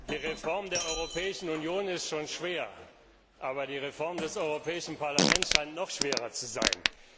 Die Reform der Europäischen Union ist schon schwer, aber die Reform des Europäischen Parlaments scheint noch schwerer zu sein.